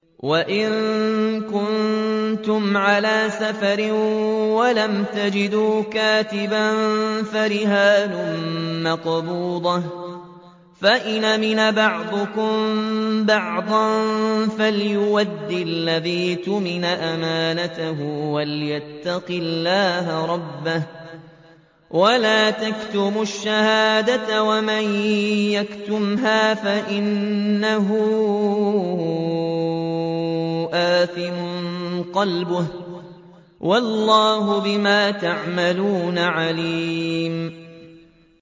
۞ وَإِن كُنتُمْ عَلَىٰ سَفَرٍ وَلَمْ تَجِدُوا كَاتِبًا فَرِهَانٌ مَّقْبُوضَةٌ ۖ فَإِنْ أَمِنَ بَعْضُكُم بَعْضًا فَلْيُؤَدِّ الَّذِي اؤْتُمِنَ أَمَانَتَهُ وَلْيَتَّقِ اللَّهَ رَبَّهُ ۗ وَلَا تَكْتُمُوا الشَّهَادَةَ ۚ وَمَن يَكْتُمْهَا فَإِنَّهُ آثِمٌ قَلْبُهُ ۗ وَاللَّهُ بِمَا تَعْمَلُونَ عَلِيمٌ